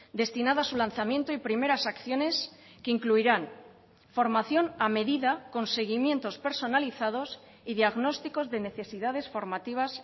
destinada a su lanzamiento y primeras acciones que incluirán formación a medida con seguimientos personalizados y diagnósticos de necesidades formativas